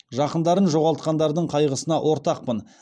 жақындарын жоғалтқандардың қайғысына ортақпын